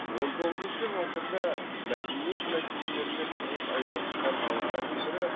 он тоғызыншы ғасырда мәдениет мәселелерімен тығыз айналысқан ғалымдардың бірі